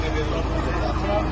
Yox, yox, yox.